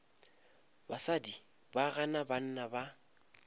basadi ba gana banna ba